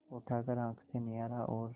उठाकर आँख से निहारा और